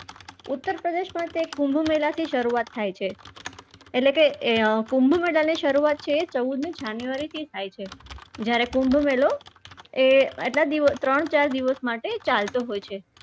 ઉત્તરપ્રદેશમાં છેક કુંભ મેળાથી શરૂઆત થાય છે એટલે કે અમ કુંભ મેળાની શરૂઆત છે એ ચૌદમી january થી થાય છે જયારે કુંભ મેળો એ એટલા ત્રણ ચાર દિવસ માટે ચાલતો હોય છે.